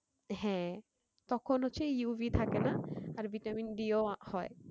হ্যাঁ তখন হচ্ছে UV থাকে না আর vitamin-D ও হয়